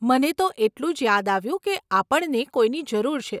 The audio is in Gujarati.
મને તો એટલું જ યાદ આવ્યું કે આપણને કોઈની જરૂર છે.